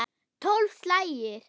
Tólf slagir!